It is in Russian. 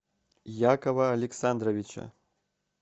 якова александровича